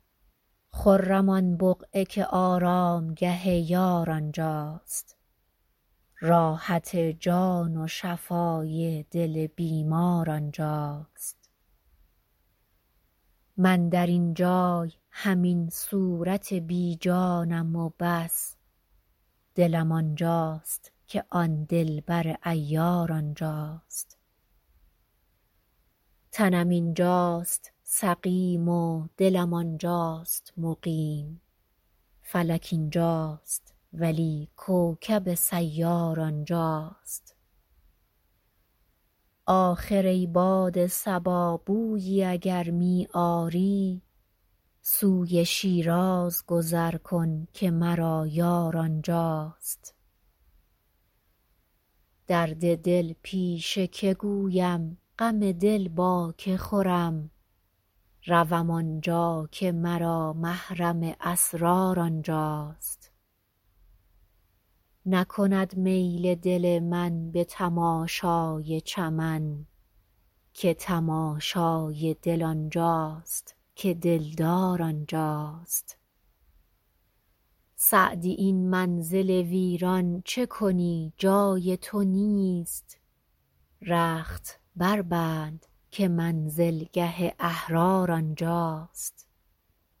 خرم آن بقعه که آرامگه یار آنجاست راحت جان و شفای دل بیمار آنجاست من در این جای همین صورت بی جانم و بس دلم آنجاست که آن دلبر عیار آنجاست تنم اینجاست سقیم و دلم آنجاست مقیم فلک اینجاست ولی کوکب سیار آنجاست آخر ای باد صبا بویی اگر می آری سوی شیراز گذر کن که مرا یار آنجاست درد دل پیش که گویم غم دل با که خورم روم آنجا که مرا محرم اسرار آنجاست نکند میل دل من به تماشای چمن که تماشای دل آنجاست که دلدار آنجاست سعدی این منزل ویران چه کنی جای تو نیست رخت بربند که منزلگه احرار آنجاست